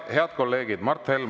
Head kolleegid!